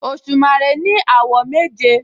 Òṣùmàrè ní àwọ̀ méje